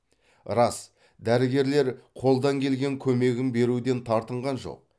рас дәрігерлер қолдан келген көмегін беруден тартынған жоқ